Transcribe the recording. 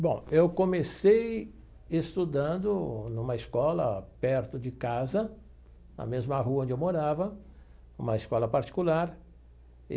Bom, eu comecei estudando numa escola perto de casa, na mesma rua onde eu morava, uma escola particular.